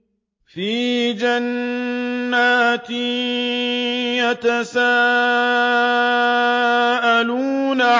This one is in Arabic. فِي جَنَّاتٍ يَتَسَاءَلُونَ